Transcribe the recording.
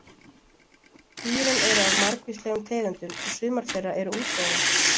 Dýrin eru af margvíslegum tegundum og sumar þeirra eru útdauðar.